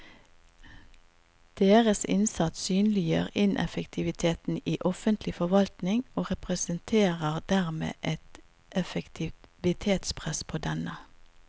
Deres innsats synliggjør ineffektiviteten i offentlig forvaltning og representerer dermed et effektivitetspress på denne.